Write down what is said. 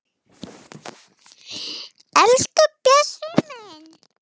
Elsku Bjössi minn.